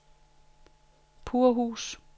Purhus